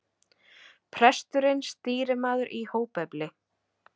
Presturinn stýrimaður í hópefli.